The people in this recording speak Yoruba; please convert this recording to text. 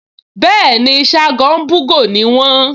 Bẹ́ẹ̀ni, Ṣágo ń bú'gò ni wọ́n